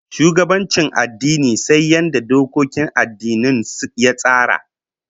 Shugabancin addini sai yadda dokokin addinin ya tsara